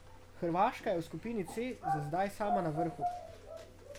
Hrvaška je v skupini C za zdaj sama na vrhu.